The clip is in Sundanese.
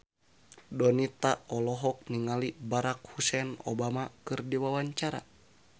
Donita olohok ningali Barack Hussein Obama keur diwawancara